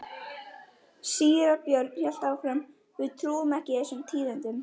Síra Björn hélt áfram: Við trúum ekki þessum tíðindum.